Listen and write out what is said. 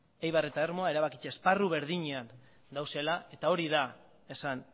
eibar eta ermua erabakitze esparru berdinean daudela eta hori da esan